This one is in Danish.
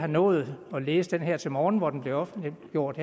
nået at læse den her til morgen hvor den blev offentliggjort